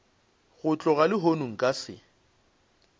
go tloga lehono nka se